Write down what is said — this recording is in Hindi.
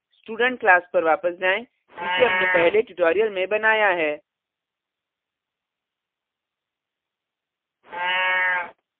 student class पर वापस जाएँ जिसे हमने पहले tutorial में बनाया है